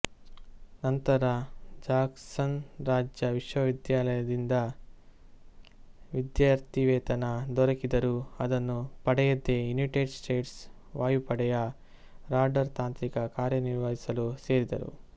ನಂತರ ಜಾಕ್ಸನ್ ರಾಜ್ಯ ವಿಶ್ವವಿದ್ಯಾಲಯದಿಂದ ವಿದ್ಯಾರ್ಥಿವೇತನ ದೊರಕಿದರೂ ಅದನ್ನು ಪಡೆಯದೇ ಯುನೈಟೆಡ್ ಸ್ಟೇಟ್ಸ್ ವಾಯುಪಡೆಯ ರಾಡಾರ್ ತಾಂತ್ರಿಕ ಕಾರ್ಯನಿರ್ವಹಿಸಲು ಸೇರಿದರು